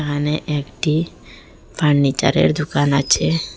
এখানে একটি ফার্নিচারের দোকান আছে।